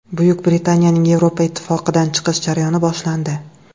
Buyuk Britaniyaning Yevropa Ittifoqidan chiqish jarayoni boshlandi.